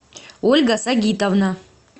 ольга сагитовна